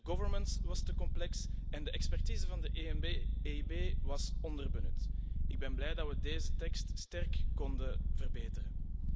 De governance was te complex en de expertise van de EIB was onderbenut. Ik ben blij dat we deze tekst sterk konden verbeteren.